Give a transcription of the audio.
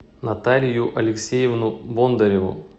наталию алексеевну бондареву